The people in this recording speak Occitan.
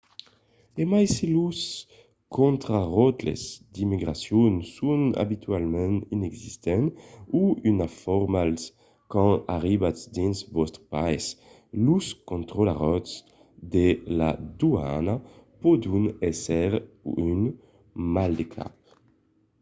e mai se los contraròtles d’immigracion son abitualament inexistents o una formalitat quand arribatz dins vòstre país los contraròtles de la doana pòdon èsser un maldecap